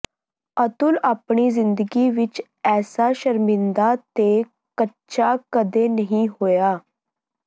ਅਤੁਲ ਆਪਣੀ ਜਿੰਦਗੀ ਵਿਚ ਐਸਾ ਸ਼ਰਮਿੰਦਾ ਤੇ ਕਚਾ ਕਦੇ ਨਹੀਂ ਹੋਇਆ